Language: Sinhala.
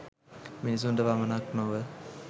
මිනිසුන්ට පමණක් නොව